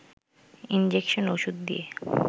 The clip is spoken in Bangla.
ইনজেকশন-ওষুধ দিয়ে